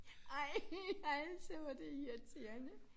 Ej altså hvor det irriterende